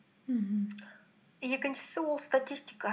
мхм екіншісі ол статистика